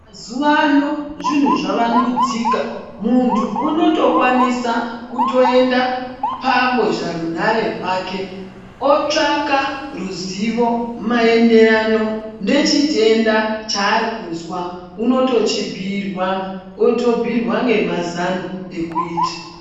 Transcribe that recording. Mazuva ano zvinhu zvavandudzika, muntu unotokwanisa kutoenda pambozharunhare rwake otsvaka ruzivo maenderano nechitenda chaari kuzwa unotochibhuirwa. Otobhuirwa ngemazano ekuita.